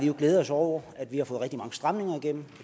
jo glædet os over at vi har fået rigtig mange stramninger igennem